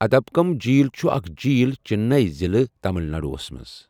ادمبکم جِیٖل چھُ اکھ جِیٖل چنئی ضِلعہٕ، تمل ناڈوَس منٛز۔